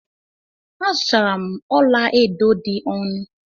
Azutara m ọla edo dị ọnụ.